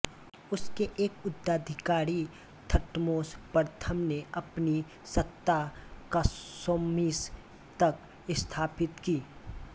उसके एक उत्तराधिकारी थटमोस प्रथम ने अपनी सत्ता कार्शैमिश तक स्थापित की